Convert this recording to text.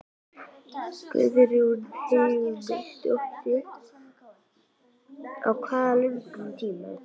Guðrún Heimisdóttir: Á hvað löngum tíma?